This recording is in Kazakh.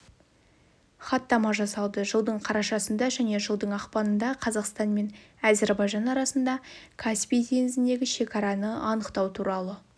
хаттама жасалды жылдың қарашасында және жылдың ақпанындақазақстан мен әзербайжан арасында каспий теңізіндегі шекараны анықтау туралы